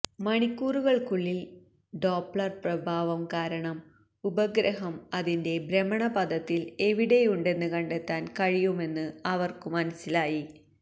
മണിക്കൂറുകൾക്കുള്ളിൽ Doppler പ്രഭാവം കാരണം ഉപഗ്രഹം അതിന്റെ ഭ്രമണപഥത്തിൽ എവിടെയുണ്ടെന്ന് കണ്ടെത്താൻ കഴിയുമെന്ന് അവർക്കു മനസ്സിലായി